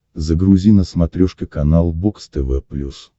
загрузи на смотрешке канал бокс тв плюс